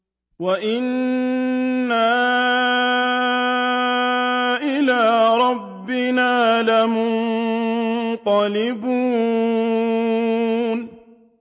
وَإِنَّا إِلَىٰ رَبِّنَا لَمُنقَلِبُونَ